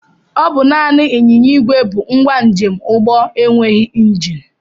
Ọ bụ naanị ịnyịnya ìgwè bụ ngwa njemụgbọ enweghị njini